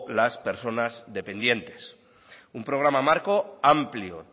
las personas dependientes un programa marco amplio